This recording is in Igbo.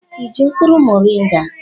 Ị ji mkpụrụ moringa?